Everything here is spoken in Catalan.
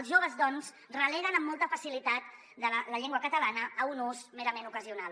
els joves doncs releguen amb molta facilitat la llengua catalana a un ús merament ocasional